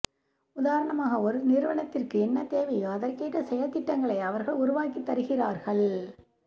உதாரணமாக ஒரு நிறுவனத்துக்கு என்ன தேவையோ அதற்கேற்ற செயல்திட்டங்களை அவர்கள் உருவாக்கித் தருகிறார்கள்